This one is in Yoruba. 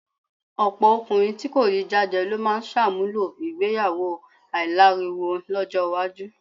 Ọ̀pọ̀ ọkùnrin tí kò rí jájẹ ló máa ṣàmúlò ìgbéyàwó aláìláriwo lọ́jọ́ iwájú.